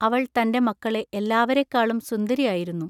അവൾ തന്റെ മക്കളെ എല്ലാവരെക്കാളും സുന്ദരി ആയിരുന്നു.